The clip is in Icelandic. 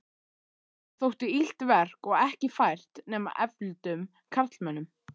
Það þótti illt verk og ekki fært nema efldum karlmönnum.